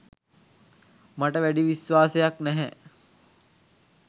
මට වැඩි විශ්වාසයක්‌ නැහැ.